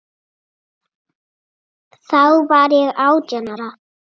Það sýður á honum.